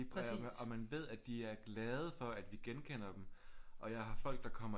Og man ved at de er glade for at vi genkender dem og jeg har folk der kommer